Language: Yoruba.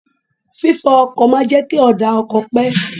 Fi fọ ọkọ̀ máa ń jẹ́ kí ọ̀dà ọkọ̀ pé.